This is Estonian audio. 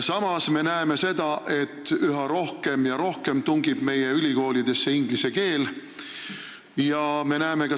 Samas me näeme seda, et üha rohkem ja rohkem tungib meie ülikoolidesse inglise keel.